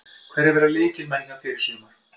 Hverjir verða lykilmenn hjá þér í sumar?